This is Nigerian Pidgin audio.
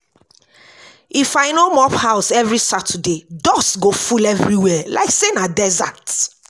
If I no mop house every Saturday, dust go full everywhere like say na desert.